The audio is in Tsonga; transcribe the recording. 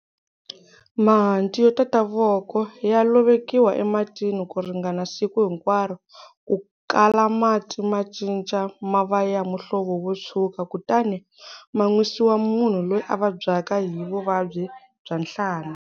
Mahanti yo tata voko ya lovekiwa ematini ku ringana siku hinkwaro ku kala mati ma cinca ma va ya muhlovo wo tshwuka kutani ma nwisiwa munhu loyi a vabyaka hi vuvabyi bya nhlana.